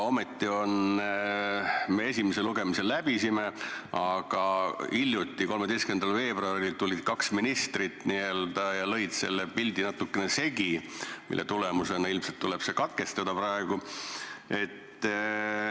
Me esimese lugemise juba läbisime, aga hiljuti, 13. veebruaril tulid kaks ministrit ja lõid selle pildi natukene segi, nii et ilmselt tuleb see lugemine praegu katkestada.